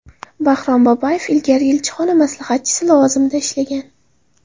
Bahrom Babayev ilgari elchixona maslahatchisi lavozimida ishlagan.